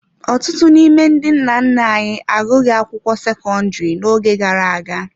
Ọtụtụ n’ime ndị nna nna anyị agụghị akwụkwọ sekọndrị n’oge gara aga.